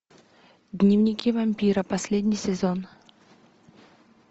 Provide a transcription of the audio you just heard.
дневники вампира последний сезон